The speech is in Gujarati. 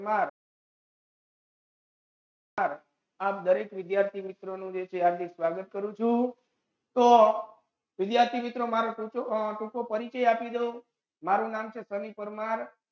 Sir sir આપ દરેક વિદ્યાર્થી મિત્રોનું હાર્દિક સ્વાગત કરું છું તો વિદ્યાર્થી મિત્રો મારો ટૂંકો અ ટૂંકો પરિચય આપી દઉ મારું નામ છે સની પરમાર.